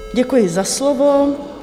Děkuji za slovo.